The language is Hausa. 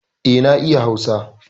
Eh na iya hausa